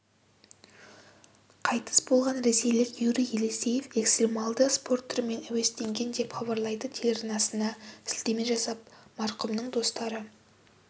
қайтыс болған ресейлік юрий елисеев экстремалды спорт түрімен әуестенген деп хабарлайды телеарнасына сілтеме жасап марқұмның достары